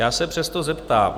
Já se přesto zeptám.